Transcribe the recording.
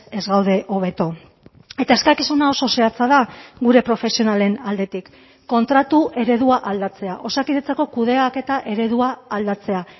ez gaude hobeto eta eskakizuna oso zehatza da gure profesionalen aldetik kontratu eredua aldatzea osakidetzako kudeaketa eredua aldatzea